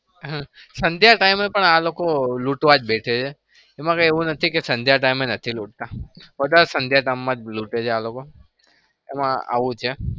હમ સંધ્યા time હ પણ આ લોકો લુંટવા જ બેસે છે. એમાં કઈ એવું નથી કે સંધ્યા time એ નથી લૂંટતા. વધાર તો સંધ્યા time માં લુંટે છે આ લોકો. એમાં આવું છે.